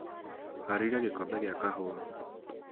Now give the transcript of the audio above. haarĩria gikombe gia kahuwa